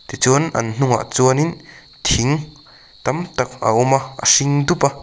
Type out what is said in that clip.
tichuan an hnungah chuan in thing tam tak a awm a a hring dup a.